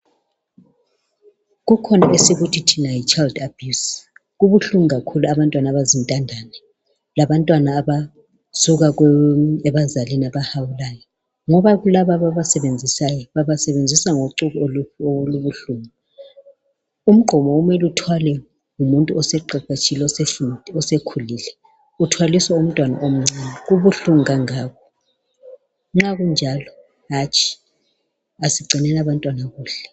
Kukhona esikuthi thina yichild abuse. Kubuhlungu kakhulu abantwana abazintandane labantwana abasuka ebazalini abahawulayo ngoba kulabo ababasebenzisayo babasebenzisa ngocuku olubuhlungu. Umgqomo kumele uthwalwe ngumuntu oseqeqetshile osekhulile uthwaliswa umntwana omncane kubuhlungu kangaka. Nxa kunjalo hatshi asigcineni abantwana kuhle.